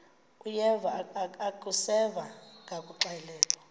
uyeva akuseva ngakuxelelwa